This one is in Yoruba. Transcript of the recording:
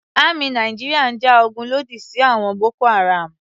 Àmì Nàìjíríà ń ja ogun lòdì sí àwọn Boko-Haram.